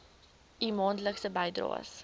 u maandelikse bydraes